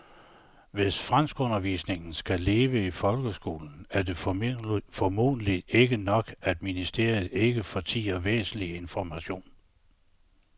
Hvis franskundervisningen skal leve i folkeskolen er det formentlig ikke nok, at ministeriet ikke fortier væsentlig information.